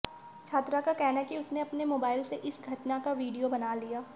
छात्रा का कहना है कि उसने अपने मोबाइल से इस घटना का वीडियो बना लिया